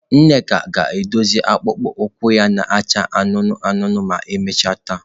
Nneka ga-edozi akpụkpọ ụkwụ ya na-acha anụnụ anụnụ ma emechaa taa.